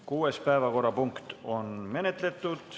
Kuues päevakorrapunkt on menetletud.